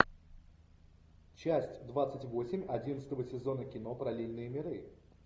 часть двадцать восемь одиннадцатого сезона кино параллельные миры